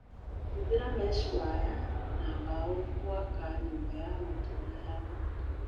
Hũthĩra meshi waya na mbao gũaka nyũmba ya gũtũra ya mbũkũ